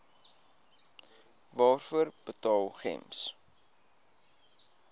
waarvoor betaal gems